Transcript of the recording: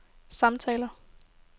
samtaler